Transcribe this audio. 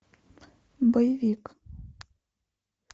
боевик